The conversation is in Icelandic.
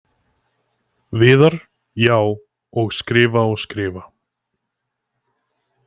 Viðar: Já, og skrifa og skrifa.